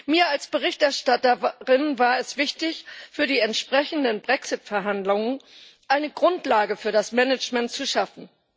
Mir als Berichterstatterin war es wichtig, für die entsprechenden Brexit Verhandlungen eine Grundlage für das Management zu schaffen.